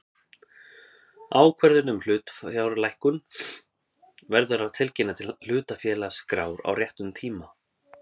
Ákvörðun um hlutafjárlækkun verður að tilkynna til hlutafélagaskrár á réttum tíma.